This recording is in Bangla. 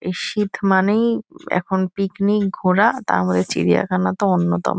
এই শীত মানেই এখন পিকনিক ঘোরা তার মধ্যে চিড়িয়াখানা তো অন্যতম।